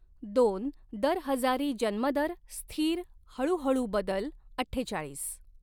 दोन दर हजारी जन्मदर स्थिर हळू हळू बदल अठ्ठेचाळीस.